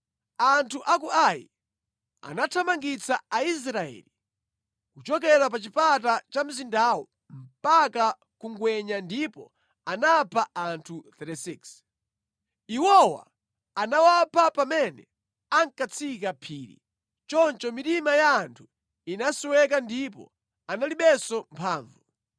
Anthu a ku Ai anathamangitsa Aisraeli kuchokera pa chipata cha mzindawo mpaka ku ngwenya ndipo anapha anthu 36. Iwowa anawapha pamene ankatsika phiri. Choncho mitima ya anthu inasweka ndipo analibenso mphamvu.